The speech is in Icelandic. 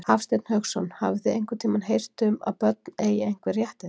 Hafsteinn Hauksson: Hafið þið einhvern tímann heyrt um að börn eigi einhver réttindi?